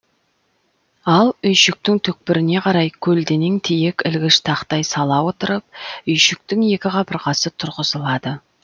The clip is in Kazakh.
ал үйшіктің түкпіріне қарай көлденең тиек ілгіш тақтай сала отырып үйшіктің екі қабырғасы тұрғызылады